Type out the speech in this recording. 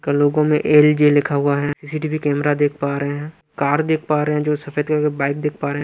कलोगों में एल_जे लिखा हुआ है सी_सी_टी_वी कैमरा देख पा रहे हैं कार देख पा रहे हैं जो सफेद कलर की बाइक देख पा रहे।